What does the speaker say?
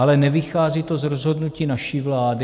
Ale nevychází to z rozhodnutí naší vlády.